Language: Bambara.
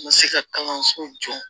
Ma se ka kalanso jɔ